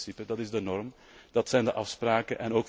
Dat is het principe, dat is de norm, dat zijn de afspraken.